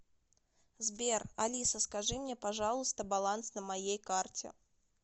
сбер алиса скажи мне пожалуйста баланс на моей карте